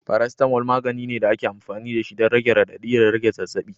Paracetamol, magani ne da ake amfani da shi don rage radadi da rage zazzabi.